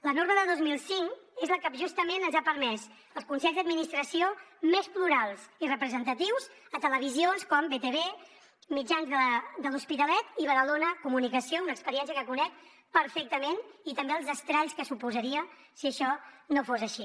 la norma de dos mil cinc és la que justament ens ha permès els consells d’administració més plurals i representatius a televisions com btv mitjans de l’hospitalet i badalona comunicació una experiència que conec perfectament i també els estralls que suposaria si això no fos així